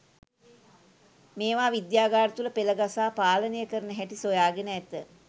මේවා විද්‍යාගාර තුල පෙලගසා පාලනය කරන හැටි සොයාගෙන ඇත.